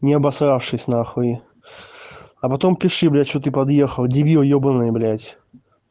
не обосравшийся нахуй а потом пиши блядь что ты подъехал дебил ёбанный блядь